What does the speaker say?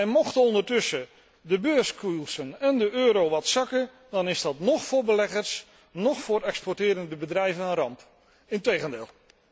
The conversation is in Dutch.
En mochten ondertussen de beurskoersen en de euro wat zakken, dan is dat noch voor beleggers, noch voor exporterende bedrijven een ramp, integendeel.